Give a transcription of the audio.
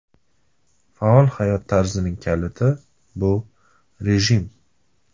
Faol hayot tarzining kaliti – bu rejim.